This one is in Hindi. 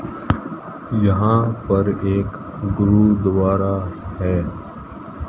यहां पर एक गुरुद्वारा है।